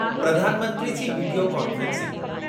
Pradhan Mantri ji video conferencing